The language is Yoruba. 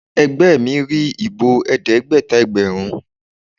Ẹgbẹ́ mi rí ìbò Ẹ̀ẹ́dẹ́gbẹ̀ta ẹgbẹ̀rún.